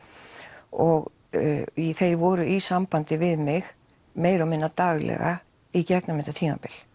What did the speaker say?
og þeir voru í sambandi við mig meira og minna daglega í gegnum þetta tímabil